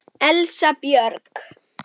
Elsa Björg.